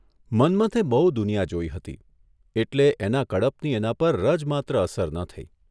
મન્મથે બહુ દુનિયા જોઇ હતી એટલે એના કડપની એના પર રાજમાત્ર અસર ન થઇ.